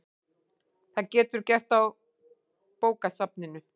Það geturðu gert á bókasafninu